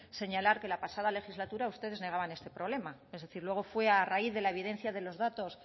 señalar que la pasada legislatura ustedes negaban este problema es decir luego fue a raíz de la evidencia de los datos